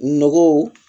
Nɔgɔw